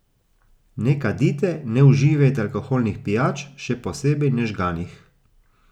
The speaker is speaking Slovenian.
Ne kadite, ne uživajte alkoholnih pijač, še posebej ne žganih.